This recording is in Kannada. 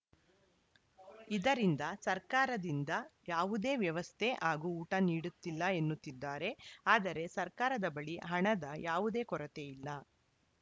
ಇದರಿಂದ ಸರ್ಕಾರದಿಂದ ಯಾವುದೇ ವ್ಯವಸ್ಥೆ ಹಾಗೂ ಊಟ ನೀಡುತ್ತಿಲ್ಲ ಎನ್ನುತ್ತಿದ್ದಾರೆ ಆದರೆ ಸರ್ಕಾರದ ಬಳಿ ಹಣದ ಯಾವುದೇ ಕೊರತೆ ಇಲ್ಲ